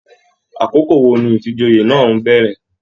Àkókò wò ní ifíjòyè náà n bẹrẹ?